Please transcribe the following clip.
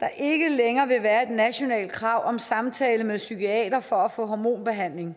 der ikke længere vil være et nationalt krav om samtale med en psykiater for at få hormonbehandling